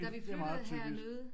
Da vi flyttede herned